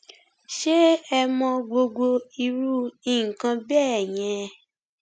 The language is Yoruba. ṣé ẹ mọ gbogbo irú nǹkan bẹẹ yẹn